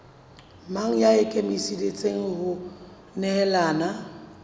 mang ya ikemiseditseng ho nehelana